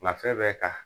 Nka fɛn bɛɛ ka